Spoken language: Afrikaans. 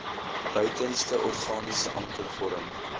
buitenste organiese ankervorm